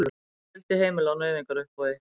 Fjöldi heimila á nauðungaruppboði